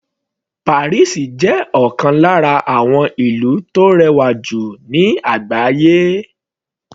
Paris jẹ́ ọ̀kan lára àwọn ìlú tó rẹwà jù ní àgbáyé.